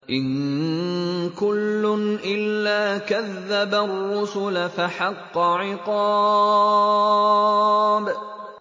إِن كُلٌّ إِلَّا كَذَّبَ الرُّسُلَ فَحَقَّ عِقَابِ